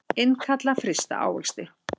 Innkalla frysta ávexti